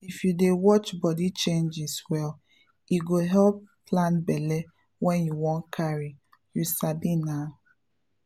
if you dey watch body changes well e go help plan belle when you wan carry — you sabi nah!